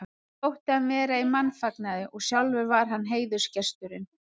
Honum þótti hann vera í mannfagnaði og sjálfur var hann heiðursgesturinn.